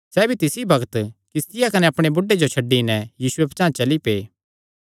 सैह़ भी तिसी बग्त किस्तिया कने अपणे बुढ़े जो छड्डी नैं यीशुये पचांह़ चली पै